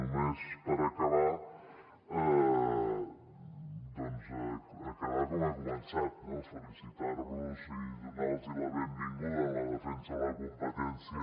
només per acabar doncs acabar com he començat no felicitar los i donar los la benvinguda en la defensa de la competència